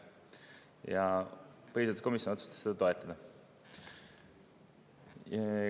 Ja põhiseaduskomisjon otsustas seda toetada.